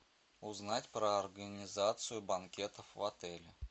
узнать про организацию банкетов в отеле